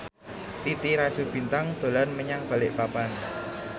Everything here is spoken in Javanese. Titi Rajo Bintang dolan menyang Balikpapan